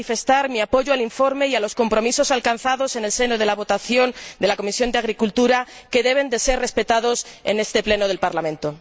Quiero manifestar mi apoyo al informe y a los compromisos alcanzados en la votación en el seno de la Comisión de Agricultura, que deben ser respetados en este Pleno del Parlamento.